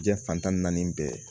Diɲɛ fantan ni naani bɛɛ